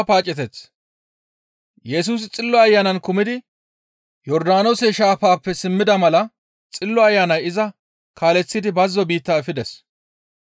Yesusi Xillo Ayanan kumidi Yordaanoose shaafappe simmida mala Xillo Ayanay iza kaaleththidi bazzo biitta efides.